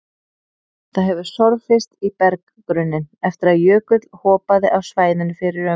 Það hefur sorfist í berggrunninn eftir að jökull hopaði af svæðinu fyrir um